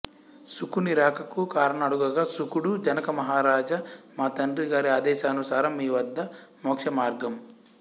శుకుని రాకకు కారణం అడుగగా శుకుడు జనక మహారాజ మా తండ్రి గారి ఆదేశానుసారం మీ వద్ద మోక్షమార్గం